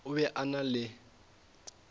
o be a na le